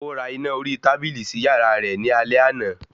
Ó ra iná orí tábìlì sí yàrá rẹ̀ ní alẹ́ àná